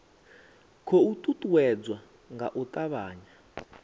khou uuwedzwa nga u avhanya